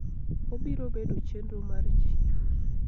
Obiro bedo chenro mar ji.